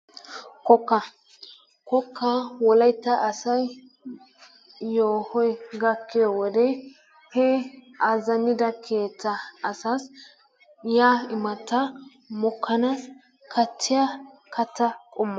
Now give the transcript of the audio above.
Kokkaa, kokkaa wolaytta asay yeehoy gakkiyo wode he azzanida keettaa asas yiya imattaa mokkanas kattiya katta qommo.